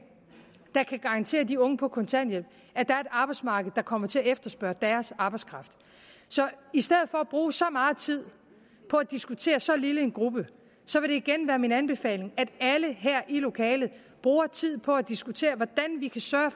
der kan garantere de unge på kontanthjælp at der er et arbejdsmarked der kommer til at efterspørge deres arbejdskraft så i stedet for at bruge så meget tid på at diskutere så lille en gruppe vil det igen være min anbefaling at alle her i lokalet bruger tid på at diskutere hvordan vi kan sørge